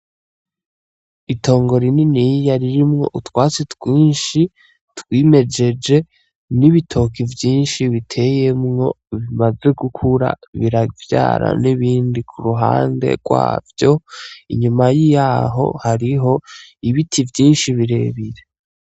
Itongo rininiya ririmwo utwatsi twinshi twimejeje n'ibitoke vyinshi biteyemwo bimaze gukura biravyara n'ibindi ku ruhande rwavyo; inyuma yaho hariho ibiti vyinshi birebire.